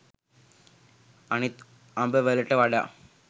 අනිත් අඹ වලට වඩා